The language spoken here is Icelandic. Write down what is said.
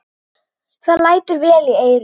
Það lætur vel í eyrum.